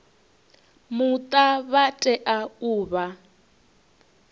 muta vha tea u vha